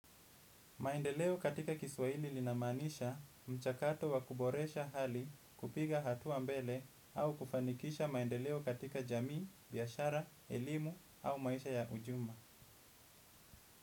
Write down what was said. Maendeleo katika kiswahili linamaanisha mchakato wa kuboresha hali kupiga hatua mbele au kufanikisha maendeleo katika jamii, biashara, elimu au maisha ya ujumla.